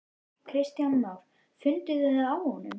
Kristján Már: Funduð þið það á honum?